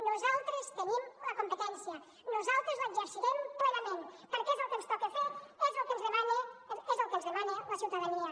nosaltres tenim la competència nosaltres l’exercirem plenament perquè és el que ens toca fer és el que ens demana la ciutadania